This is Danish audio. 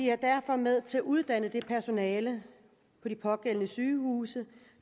er derfor med til at uddanne det personale på de pågældende sygehuse